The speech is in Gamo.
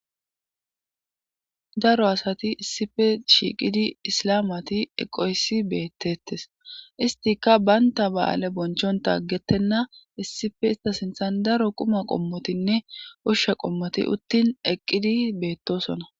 daro asati issife shiiqidi islamati eqoysi beettettes istika baynta ba7aale bonchonta gettenna issife ista sinthan daro quma qommotinne ushshe qommoti uttin eqqidi beettosona